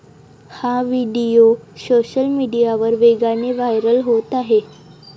हा video social मीडियावर वेगाने व्हायरल होत आहे.